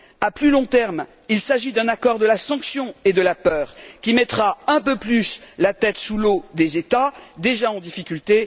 À plus long terme, il s'agit d'un accord de la sanction et de la peur, qui mettra un peu plus la tête sous l'eau aux États, déjà en difficulté.